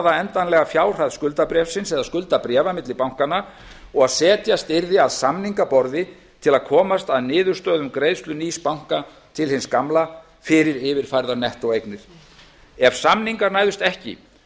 endanlegu fjárhæð skuldabréfsins eða skuldabréfa milli bankanna og að setjast yrði að samningaborði til að komast að niðurstöðu um greiðslu nýs banka til hins gamla fyrir yfirfærðar nettóeignir ef samningar næðust ekki